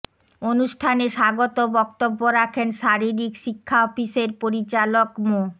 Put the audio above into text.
অনুষ্ঠানে স্বাগত বক্তব্য রাখেন শারীরিক শিক্ষা অফিসের পরিচালক মো